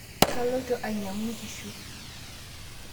kaloito ainyang'u nkishu